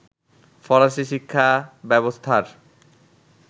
ফরাসি শিক্ষা ব্যবস্থার